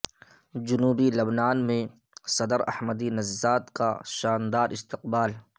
جنوبی لبنان میں صدر احمدی نژاد کا شاندار استقبال